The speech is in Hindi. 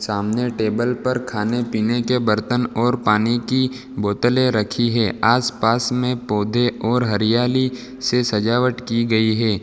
सामने टेबल पर खाने पीने के बर्तन और पानी की बोतले रखी है आसपास में पौधे और हरियाली से सजावट की गई है।